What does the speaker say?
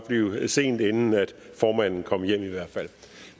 blive sent inden formanden kom hjem